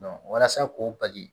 walasa k'o bali